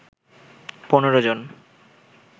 ১৫ জন